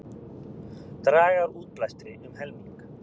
Draga úr útblæstri um helming